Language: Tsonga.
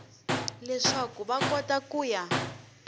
leswaku va kota ku ya